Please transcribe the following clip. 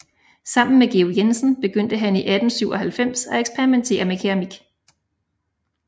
Sammen med Georg Jensen begyndte han i 1897 at eksperimentere med keramik